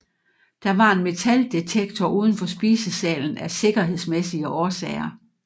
Der var en metaldetektor uden for spisesalen af sikkerhedsmæssige årsager